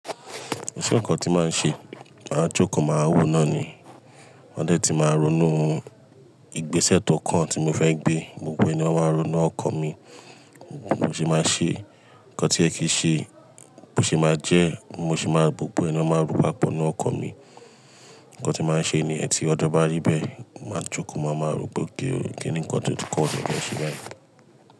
Kan ṣe ǹnkan tí màá ṣe, màá jókòó, màá wò ó náà ni. Wọ́n dẹ̀ ti máa ronú, ìgbésẹ̀ tó kan tí mo fẹ́ gbé, gbogbo ẹni ó máa ronú ọkọ̀ mi. Bó ṣe máa ṣe, nǹkan tí ẹ fìí ṣe, bó ṣe máa jẹ́, mo sì máa rò gbogbo ẹ papọ̀ nínú ọkàn mi. Nǹkan tí màá ṣe ni yẹ́n tí ọjọ bá rí bẹ́ẹ̀, màá jókòó, màámaa ròpé okay o, kíni nǹkan tó tù kan tí mo fẹ́ ṣe báyìí.